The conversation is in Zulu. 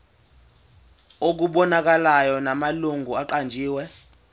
okubonakalayo namalungu aqanjiwe